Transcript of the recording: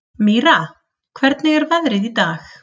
Mýra, hvernig er veðrið í dag?